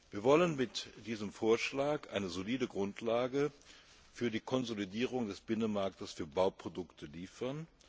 Wir wollen mit diesem Vorschlag eine solide Grundlage für die Konsolidierung des Binnenmarktes für Bauprodukte liefern.